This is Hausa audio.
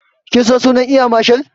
Kin san sunan eya marshal?